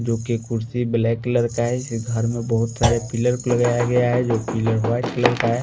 जो कि कुर्सी ब्लैक कलर का है इस घर में बहुत सारे पिलर लगाया गया है जो पिलर वाइट कलर का है।